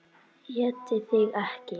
ÉTI ÞIG EKKI!